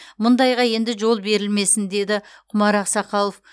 мұндайға енді жол берілмесін деді құмар ақсақалов